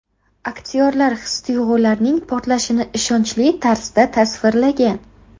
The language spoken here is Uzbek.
Aktyorlar his-tuyg‘ularning portlashini ishonchli tarzda tasvirlagan.